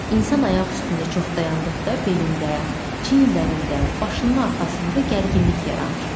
İnsan ayaq üstündə çox dayandıqda belində, çiyinlərində, başının arxasında gərginlik yaranır.